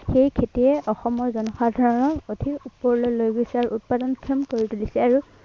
এই খেতিয়ে অসমৰ জনসাধাৰনক অধিক ওপৰলৈ লৈ গৈছে আৰু উৎপাদনক্ষম তুলিছে।